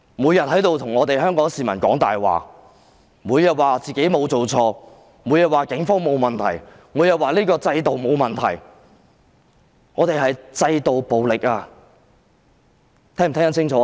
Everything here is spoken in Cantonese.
每天在此向香港市民說謊，每天都說自己沒有做錯，每天也說警方沒有問題，以及這個制度沒有問題，但這是制度暴力，司長聽清楚了嗎？